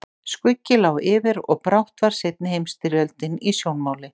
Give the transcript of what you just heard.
Skuggi lá yfir og brátt var seinni heimsstyrjöldin í sjónmáli.